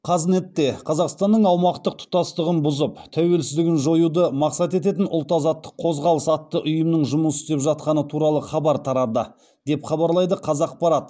қазнетте қазақстанның аумақтық тұтастығын бұзып тәуелсіздігін жоюды мақсат ететін ұлт азаттық қозғалыс атты ұйымның жұмыс істеп жатқаны туралы хабар тарады деп хабарлайды қазақпарат